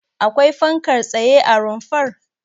Akwai fankar tsaye a rumfar?